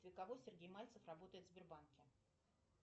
для кого сергей мальцев работает в сбербанке